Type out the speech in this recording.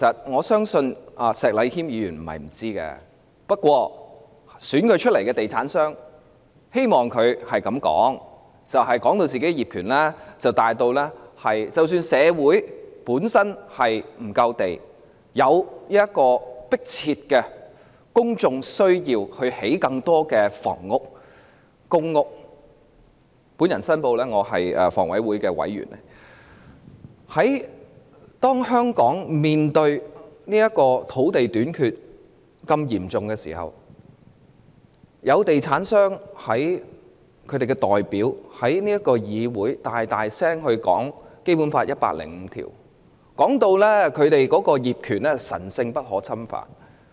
我相信石禮謙議員並非不知道這點，但投票選他的地產商希望他這樣發言，是要把業權說成大於......即使社會欠缺足夠土地，並有迫切公眾需要興建更多房屋和公屋——我先申報我是香港房屋委員會的委員——在香港面對嚴重的土地短缺問題時，作為地產商的代表，他也要在議會內大聲讀出《基本法》第一百零五條，把他們的業權說得好像神聖不可侵犯般。